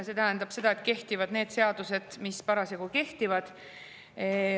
See tähendab seda, et kehtivad need seadused, mis parasjagu kehtivad.